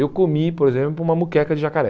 Eu comi, por exemplo, uma muqueca de jacaré.